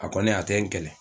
A kɔni a tɛ n kɛlɛ